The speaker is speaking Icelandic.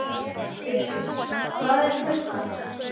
Hugi, hvað er klukkan?